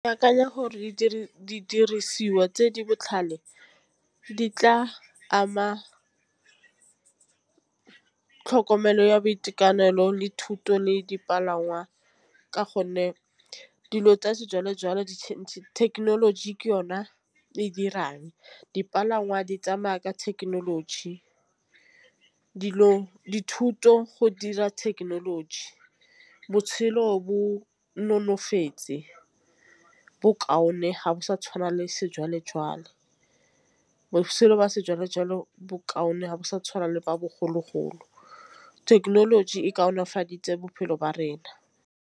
Ke akanya gore didirisiwa tse di botlhale di tla ama tlhokomelo ya boitekanelo le thuto le dipalangwa ka gonne dilo tsa sejwalejwale di thekenoloji ke yona e dirang dipalangwa di tsamaya ka thekenoloji. Dilo dithuto go dira thekenoloji, botshelo bo nonofetse bokaone ga go sa tšhwana le sejwalejwale. Botšhelo ba sejwalejwale bokaone ga bo sa tšhwana le ba bogologolo thekenoloji e kaonafaditse bophelo ba rona.